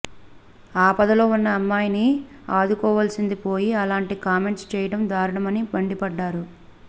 ఆపదలో ఉన్న అమ్మాయిని ఆదుకోవాల్సిందిపోయి అలాంటి కామెంట్స్ చేయడం దారుణమని మండిపడ్డారు